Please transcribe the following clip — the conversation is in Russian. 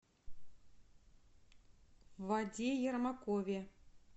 ваде ермакове